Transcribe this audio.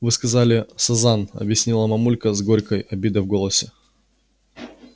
вы сказали сазан объяснила мамулька с горькой обидой в голосе